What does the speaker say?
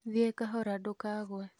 Thiĩ kahora ndũkagũe